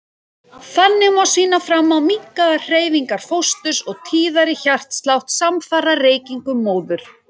Þannig má sýna fram á minnkaðar hreyfingar fósturs og tíðari hjartslátt samfara reykingum móður.